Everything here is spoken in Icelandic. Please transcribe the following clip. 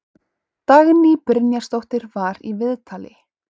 Dagný Brynjarsdóttir var í viðtali.